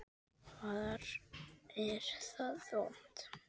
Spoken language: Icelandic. Hvar er það vont?